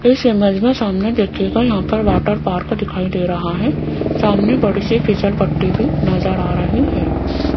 इस इमेज में सामने देखिएगा यहां पर वाटर पार्क दिखाई दे रहा है सामने बड़ी सी फिसल पट्टी भी नजर आ रही है।